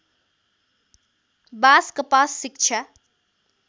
बास कपास शिक्षा